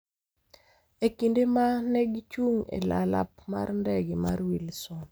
e kinde ma ne gichung’ e alap mar ndege mar Wilson.